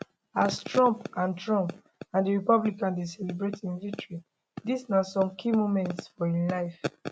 as trump and trump and di republicans dey celebrate im victory dis na some key moments from im life